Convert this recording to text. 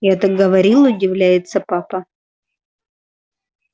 я так говорил удивляется папа